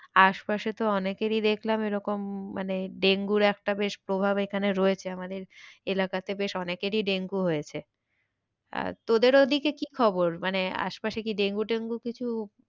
আশপাশে তো অনেকেরই দেখলাম এরকম মানে ডেঙ্গুর একটা বেশ প্রভাব এখানে রয়েছে আমাদের এলাকাতে বেশ অনেকেরই ডেঙ্গু হয়েছে। আর তোদের ওদিকে কি খবর? মানে আশেপাশে কি ডেঙ্গু টেঙ্গু কিছু,